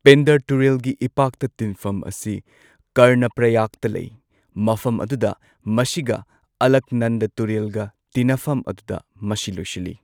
ꯄꯤꯟꯗꯔ ꯇꯨꯔꯦꯜꯒꯤ ꯏꯄꯥꯛꯇ ꯇꯤꯟꯐꯝ ꯑꯁꯤ ꯀꯔꯅꯄ꯭ꯔꯌꯥꯒꯇ ꯂꯩ ꯃꯐꯝ ꯑꯗꯨꯗ ꯃꯁꯤꯒ ꯑꯂꯛꯅꯟꯗ ꯇꯨꯔꯦꯜꯒ ꯇꯤꯟꯅꯐꯝ ꯑꯗꯨꯗ ꯃꯁꯤ ꯂꯣꯏꯁꯤꯜꯂꯤ꯫